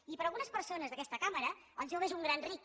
i per a algunes persones d’aquesta cambra el jove és un gran ric